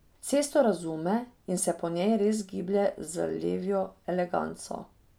Cesto razume in se po njej res giblje z levjo eleganco.